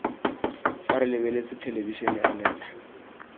fa re lebeletse thelebišene anela